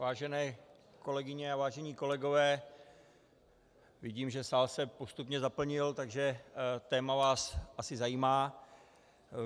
Vážené kolegyně a vážení kolegové, vidím, že sál se postupně zaplnil, takže téma vás asi zajímá.